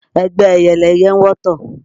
Ẹgbẹ́ ẹyẹ lẹyẹ ń wọ́tọ̀